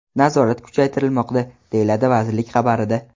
Nazorat kuchaytirilmoqda”, – deyiladi vazirlik xabarida .